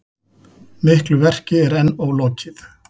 Miklu verki er enn ólokið